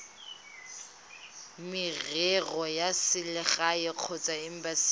merero ya selegae kgotsa embasing